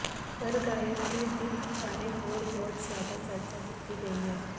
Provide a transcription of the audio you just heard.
ਪਰ ਗਾਇਕ ਦੀ ਦਿੱਖ ਬਾਰੇ ਹੋਰ ਬਹੁਤ ਜ਼ਿਆਦਾ ਚਰਚਾ ਕੀਤੀ ਗਈ ਹੈ